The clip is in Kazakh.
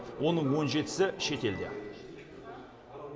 оның он жетісі шетелде